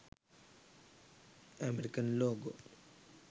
american logo